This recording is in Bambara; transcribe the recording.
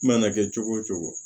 I mana kɛ cogo o cogo